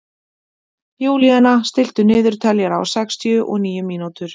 Júlíana, stilltu niðurteljara á sextíu og níu mínútur.